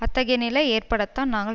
அத்தகைய நிலை ஏற்படத்தான் நாங்கள்